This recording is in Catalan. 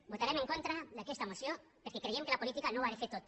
votarem en contra d’aquesta moció perquè creiem que la política no ho ha de fer tot